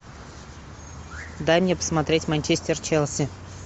дай мне посмотреть манчестер челси